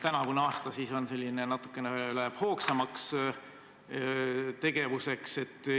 Tänavune aasta on siis selline, et läheb natukene hoogsamaks tegevuseks.